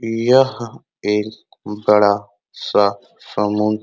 यह एक बड़ा सा समूह --